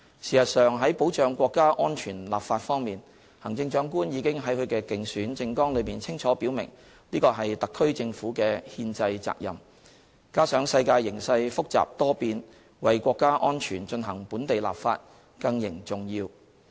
事實上，在保障國家安全立法方面，行政長官已經在她的競選政綱裏清楚表明，這是特區政府的憲制責任，加上世界形勢複雜多變，為國家安全進行本地立法更形重要。